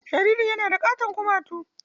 .Jaririn yana da katon kumatu.